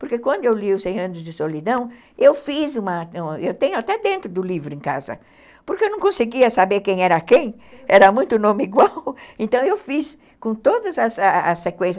Porque quando eu li o cem anos de solidão, eu fiz uma... Eu tenho até dentro do livro em casa, porque eu não conseguia saber quem era quem, era muito nome igual, então eu fiz com todas as sequências.